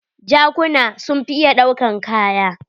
Jakuna sun fi iya ɗaukan kaya.